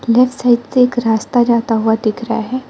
Left side से एक रास्ता जाता हुआ दिख रहा है।